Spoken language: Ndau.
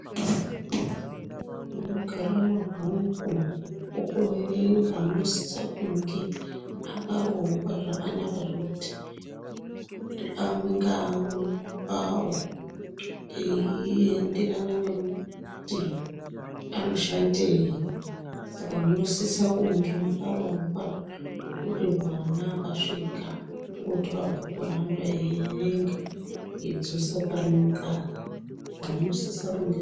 Munogara mabhuku okuverenga munosisa kunge akarongwa zvakanaka zvokuti amwe ngaamwe pawo eyienderana nekuti anoshandei saka munosisa kunge makarongwa zvekuti mwana akasvika kungotora bhuku ranoda eyierenga eidzosa parinogara